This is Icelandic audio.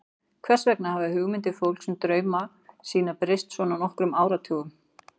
Hvers vegna hafa hugmyndir fólks um drauma sína breyst svona á nokkrum áratugum?